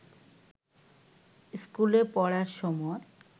স্কুলে পড়ার সময়